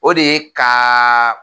O de ye ka